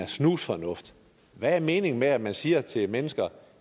snusfornuft hvad er meningen med at man siger til mennesker